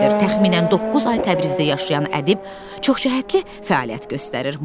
Təxminən doqquz ay Təbrizdə yaşayan ədib çoxcəhətli fəaliyyət göstərir.